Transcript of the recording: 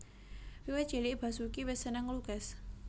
Wiwit cilik Basoeki wis seneng nglukis